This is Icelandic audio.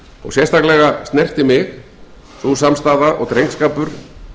og sérstaklega snerti mig sú samstaða og drengskapur